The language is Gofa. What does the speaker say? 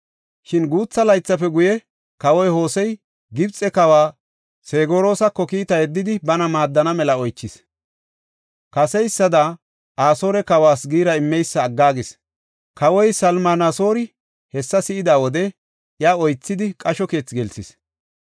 Shin guutha laythafe guye, kawoy Hosey, Gibxe kawa Segoras kiita yeddidi, bana maaddana mela oychis. Kaseysada Asoore kawas giira immeysa aggaagis. Kawoy Salminasoori hessa si7ida wode iya oythidi, qasho keethi gelsis.